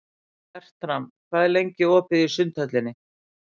Fertram, hvað er lengi opið í Sundhöllinni?